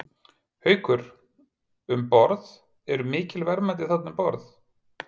Haukur: Um borð, eru mikil verðmæti þarna um borð?